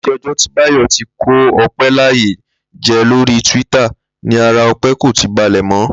Láti o̩jó̩ tí Báyò ti kó O̩pé̩ láyà je̩ lórí twitter ni ara O̩pé̩ kòti balè̩ mó̩